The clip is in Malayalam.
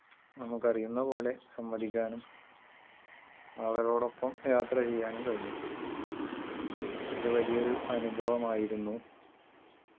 നമുക്കറിയുന്നപോലെ സംവദിക്കാനും അവരോടൊപ്പം യാത്രചെയ്യാനും കഴിഞ്ഞു ഇതുവലിയൊരു അനുഭവമായിരുന്നു